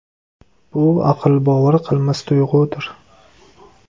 Bu aql bovar qilmas tuyg‘udir!